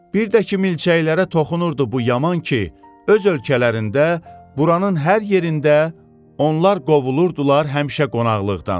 Bir də ki milçəklərə toxunurdu bu yaman ki, öz ölkələrində buranın hər yerində onlar qovulurdular həmişə qonaqlıqdan.